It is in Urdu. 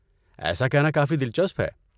ایسا کہنا کافی دلچسپ ہے۔